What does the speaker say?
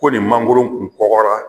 Ko nin mangoro kun kɔgɔra